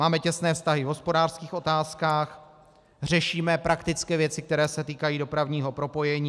Máme těsné vztahy v hospodářských otázkách, řešíme praktické věci, které se týkají dopravního propojení.